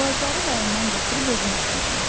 Ağacları rayondan gətirib özüm əkmişəm.